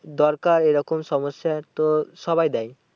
দরকার এরকম সমস্যায় তো সবাই দেয়।